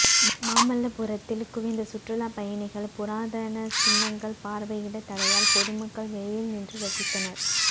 மாமல்லபுரத்தில் குவிந்த சுற்றுலா பயணிகள் புராதன சின்னங்கள் பார்வையிட தடையால் பொதுமக்கள் வெளியில் நின்று ரசித்தனர்